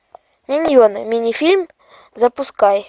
миньоны мини фильм запускай